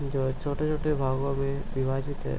जो छोटे-छोटे भागों में विभाजित है।